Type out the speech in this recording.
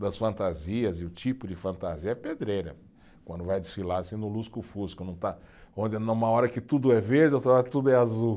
Das fantasias, e o tipo de fantasia é pedreira, quando vai desfilar assim no lusco-fusco, não está, onde numa hora que tudo é verde, outra hora tudo é azul.